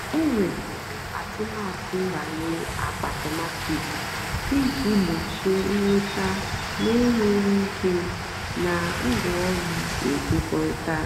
ọ́ wèpụ́rụ́ àtụ́matụ́ nbànyé àkpáàtómatị́k ìjì gbòchíé ị́nwètá nà-ènyéghị́ íkè nà ngwáọ̀rụ́ ékékwóritárá.